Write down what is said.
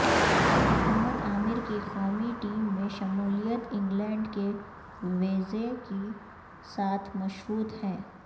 محمد عامر کی قومی ٹیم میں شمولیت انگلینڈ کے ویزے کے ساتھ مشروط ہے